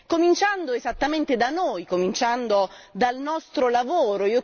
Cominciando esattamente da noi, cominciando dal nostro lavoro.